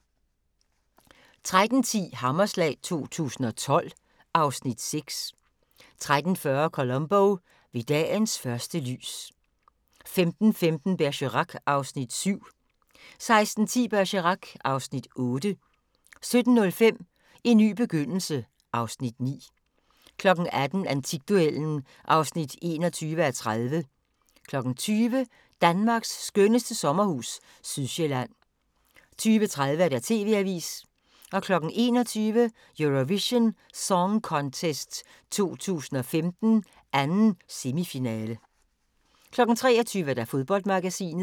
13:10: Hammerslag 2012 (Afs. 6) 13:40: Columbo: Ved dagens første lys 15:15: Bergerac (Afs. 7) 16:10: Bergerac (Afs. 8) 17:05: En ny begyndelse (Afs. 9) 18:00: Antikduellen (21:30) 20:00: Danmarks skønneste sommerhus – Sydsjælland 20:30: TV-avisen 21:00: Eurovision Song Contest 2015, 2. semifinale 23:00: Fodboldmagasinet